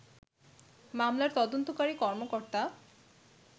মামলার তদন্তকারী কর্মকর্তা